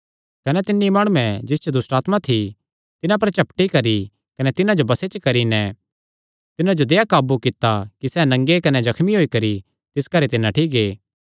कने तिन्नी माणुये जिस च दुष्टआत्मां थी तिन्हां पर झपटी करी कने तिन्हां जो बसे च करी नैं तिन्हां जो देहया काबू कित्ता कि सैह़ नंगे कने जख्मी होई करी तिस घरे ते नठ्ठी गै